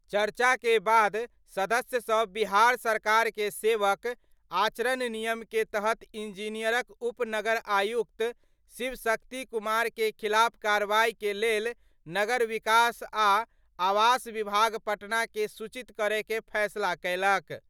चर्चा के बाद सदस्य सब बिहार सरकार के सेवक आचरण नियम के तहत इंजीनियरक उप नगर आयुक्त शिव शक्ति कुमार के खिलाफ कार्रवाई के लेल नगर विकास आ आवास विभाग पटना के सूचित करय के फैसला कयलक।